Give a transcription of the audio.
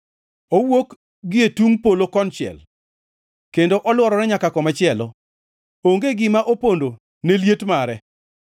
Owuok gie tungʼ polo konchiel, kendo olworore nyaka komachielo; onge gima opondo ne liet mare.